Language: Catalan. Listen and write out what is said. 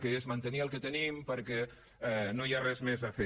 que és mantenir el que tenim perquè no hi ha res més a fer